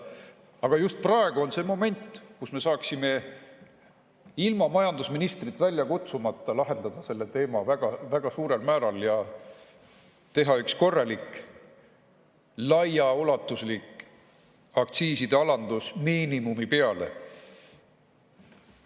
Aga just praegu on see moment, kui me saaksime ilma majandusministrit välja kutsumata lahendada selle teema väga suurel määral ja teha üks korralik, laiaulatuslik aktsiiside alandus miinimumi peale.